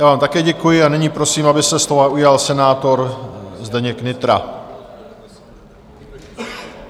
Já vám také děkuji a nyní prosím, aby se slova ujal senátor Zdeněk Nytra.